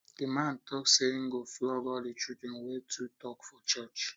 the man talk say he go flog all the children wey too talk for church